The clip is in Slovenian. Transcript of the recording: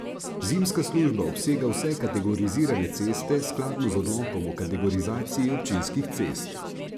Zimska služba obsega vse kategorizirane ceste, skladno z Odlokom o kategorizaciji občinskih cest.